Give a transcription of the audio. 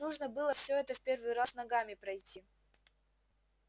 нужно было всё это в первый раз ногами пройти